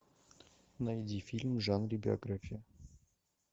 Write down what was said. найди фильм в жанре биография